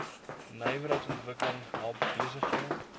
nywerheidsontwikkeling help besighede